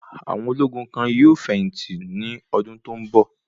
Àwọn ológun kan yóò fẹ̀yìn tì ní ọdún tó ń bọ̀.